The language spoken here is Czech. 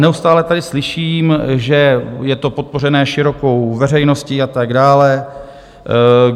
Neustále tady slyším, že je to podpořené širokou veřejností a tak dále.